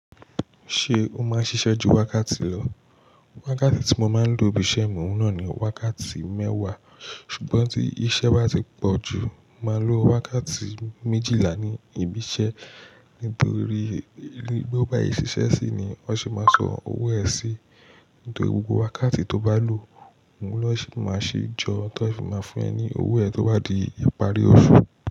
Ṣé o máa ń ṣiṣẹ́ ju wákàtí lọ? Wákàtí tí mo máa ń lò nbi iṣẹ́ mi òun nà ni wákàtí mẹ́wàá. Ṣùgbọ́n tí iṣẹ́ bá ti pọ̀ jù, màá lo wákàtí méjìlá ní ibi iṣẹ́. Nítorí bóo bá ṣe ṣiṣẹ́ sí ni wọ́n sì máa san owó ẹ sí. Nítorí gbogbo wákàtí tó bá lò, òun lọ́ ṣì máa ṣe jọ tí wọ́n sì máa fún ẹ ní owó ẹ tó bá di ìparí oṣù.